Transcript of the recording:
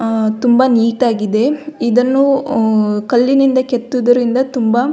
ಅ ತುಂಬಾ ನೀಟಾಗಿದೆ ಇದನ್ನು ಕಲ್ಲಿನಿಂದ ಕೆತ್ತಿದರಿಂದ ತುಂಬ --